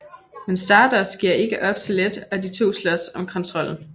Men Stardust giver ikke op så let og de to slås om kontrollen